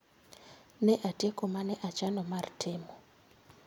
Ne atieko mane achano mar timo